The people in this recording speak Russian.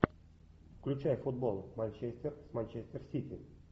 включай футбол манчестер с манчестер сити